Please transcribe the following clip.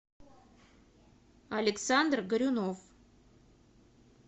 александр горюнов